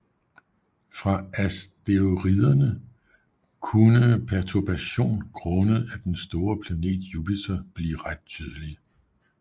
For asteroiderne kunne perturbation grundet af den store planet Jupiter blive ret betydelige